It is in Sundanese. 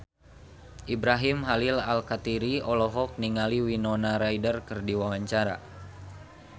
Ibrahim Khalil Alkatiri olohok ningali Winona Ryder keur diwawancara